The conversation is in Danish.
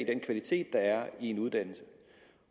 den kvalitet der er i en uddannelse